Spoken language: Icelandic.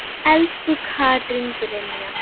Elsku Katrín Brynja.